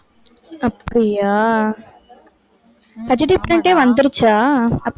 அப்படியா? HD print ஏ வந்திருச்சா?